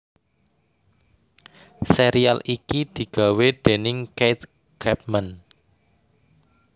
Sérial iki digawé déning Keith Chapman